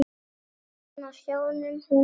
Hann á sjónum, hún heima.